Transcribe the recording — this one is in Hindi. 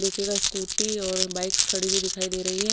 देखिएगा स्कूटी बाइक्स खड़ी हुई नजर आ रही है।